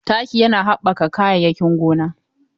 Taki yana haɓɓaka kayayyakin gona.